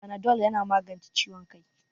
Fanadol yana magance ciwon kai